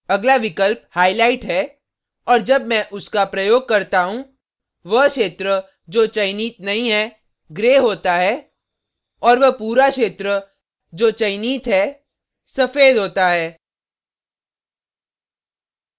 अगला विकल्प highlight है और जब मैं उसका प्रयोग करता हूँ वह क्षेत्र जो चयनित नहीं है gray होता है और वह पूरा क्षेत्र जो चयनित नहीं है सफ़ेद होता है